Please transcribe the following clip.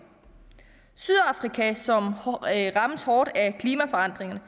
sydafrika som rammes hårdt af klimaforandringer